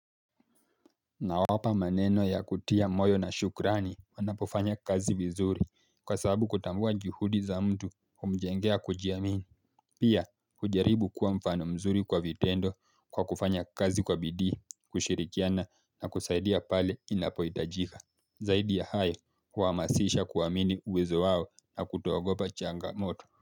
Nawapa maneno ya kutia moyo na shukrani wanapofanya kazi vizuri kwa sababu kutambua juhudi za mtu humjengea kujiamini. Pia hujaribu kuwa mfano mzuri kwa vitendo kwa kufanya kazi kwa bidii kushirikiana na kusaidia pale inapohitajika. Zaidi ya hayo huamasisha kuamini uwezo wao na kutoogopa changamoto. Kwa hivyo.